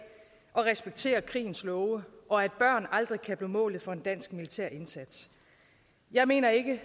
og respekterer krigens love og at børn aldrig kan blive målet for en dansk militær indsats jeg mener ikke